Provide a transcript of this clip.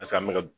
Paseke an bɛ ka